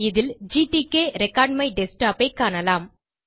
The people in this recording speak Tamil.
அதில் gtk ரெக்கார்ட்மைடஸ்க்டாப் ஐ காணலாம்